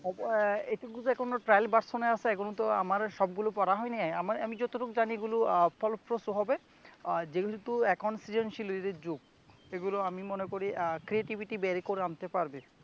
আহ এখনো trial version এআছে এখনতো আমার সবগুলো পড়া হয় নাই আমি যতটুক জানি এগুলো আহ ফলপ্রসূ হবে যেহেতু এখন সৃজনশীলের ই যুগ এগুলো আমি মনে করি আহ creativity বের করে আনতে পারব